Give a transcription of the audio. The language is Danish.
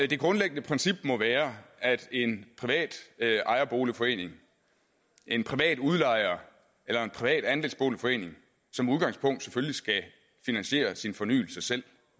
det grundlæggende princip må være at en privat ejerboligforening en privat udlejer eller en privat andelsboligforening som udgangspunkt selvfølgelig skal finansiere sin fornyelse selv